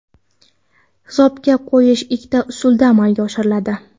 Hisobga qo‘yish ikkita usulda amalga oshiriladi.